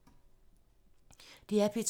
DR P2